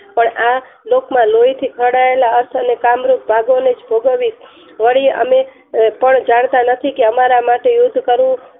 પણ આ લોક માં લોઈથી ખરડાયેલા અસ અને કામરૂપ ભાગો ને જ ભોગવી વળી અમે પણ જાણતા નથી કે અમારા માટે યુદ્ધ કરવું